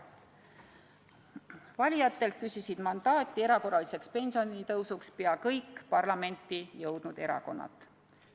Valijatelt küsisid erakorraliseks pensionitõusuks mandaati pea kõik parlamenti jõudnud erakorrad.